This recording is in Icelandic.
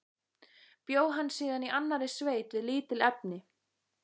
Bjó hann síðan í annarri sveit við lítil efni.